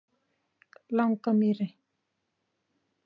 Langamýri